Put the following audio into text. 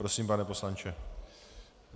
Prosím, pane poslanče.